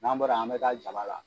N'an bɔra ye an bɛ taa jaba la.